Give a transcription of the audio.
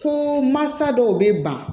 Ko mansa dɔw bɛ ban